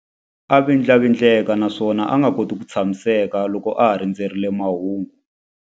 A vindlavindleka naswona a nga koti ku tshamiseka loko a ha rindzerile mahungu.